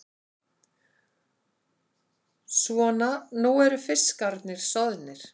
Svona, nú eru fiskarnir soðnir.